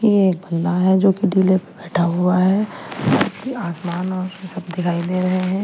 ये एक बंदा है जो कि ढीले पर बैठा हुआ है आसमान और सब दिखाई दे रहे हैं।